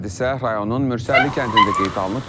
Hadisə rayonun Mürsəlli kəndində qeydə alınıb.